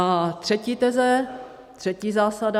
A třetí teze, třetí zásada.